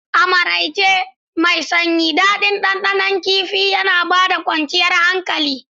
A maraice mai sanyi, daɗin ɗanɗanon kifin Kifi ya ba da kwanciyar hankali.